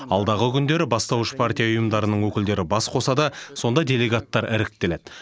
алдағы күндері бастауыш партия ұйымдарының өкілдері бас қосады сонда делегаттар іріктеледі